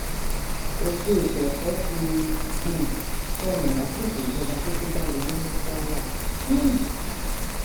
ògo ètò ẹkọ ti um sọnù lásìkò ìjọba tó kógbá wọlé ní kwara um